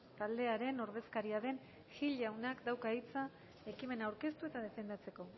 taldearen ordezkaria den gil jaunak dauka hitza ekimena aurkeztu eta defendatzeko